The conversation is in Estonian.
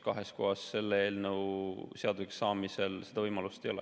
Kahes kohas olla selle eelnõu seaduseks saamisel võimalust ei ole.